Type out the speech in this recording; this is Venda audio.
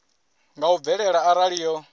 nga u bvelela arali yo